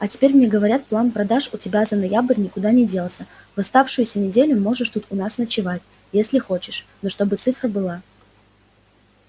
а теперь мне говорят план продаж у тебя за ноябрь никуда не делся в оставшуюся неделю можешь тут у нас ночевать если хочешь но чтобы цифра была